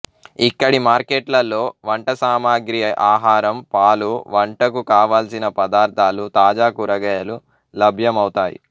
ఇక్కడి మార్కెట్లలో వంటసామగ్రి ఆహారం పాలు వంటకు కావలసిన పదార్ధాలు తాజా కూరగాయలు లభ్యమౌతాయి